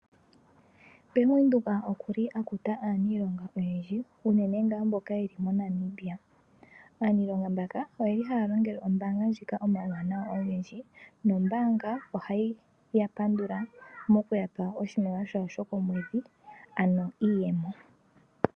Bank Windhoek okuli akuta aaniilonga oyendji unene ngaa mboka yeli mo Namibia. Aaniilonga mbaka oyeli haa longele ombaanga ndjika omauwanawa ogendji, nombaanga ohayi ya pandula nokuyapa oshimaliwa shawo shokomwedhi, ano iiyemo.